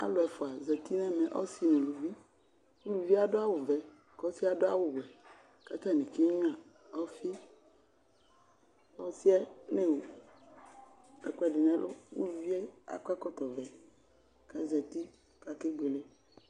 Alʋ ɛfua zati n'ɛmɛ, ɔsi n'uluvi Uluvi yɛ adʋ awu vɛ, k'ɔsi yɛ adʋ awʋ wɛ k'atani kegnua ɔfi Ɔsi yɛ n'ewu ɛkʋɛdi n'ɛlʋ, uluvi yɛ akɔ ɛkɔtɔ vɛ k'azati k'akebuele